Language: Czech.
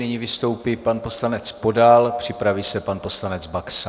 Nyní vystoupí pan poslanec Podal, připraví se pan poslanec Baxa.